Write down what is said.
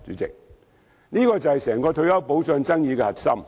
這便是整個退休保障爭議的核心。